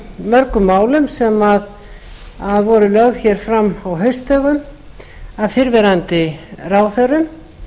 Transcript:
mörgu málum sem voru lögð fram á haustdögum af fyrrverandi ráðherrum